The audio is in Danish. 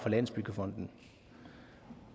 landsbyggefonden